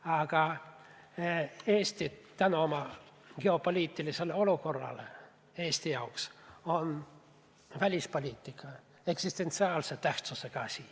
Aga tänu oma geopoliitilisele olukorrale on välispoliitika Eesti jaoks eksistentsiaalse tähtsusega asi.